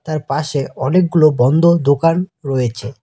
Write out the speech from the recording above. তারপাশে অনেকগুলো বন্ধ দোকান রয়েছে।